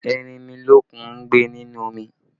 Erinmilokun ń gbé nínú omi